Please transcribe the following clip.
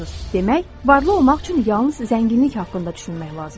Demək, varlı olmaq üçün yalnız zənginlik haqqında düşünmək lazımdır.